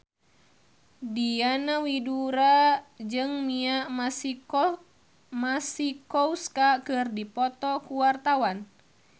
Diana Widoera jeung Mia Masikowska keur dipoto ku wartawan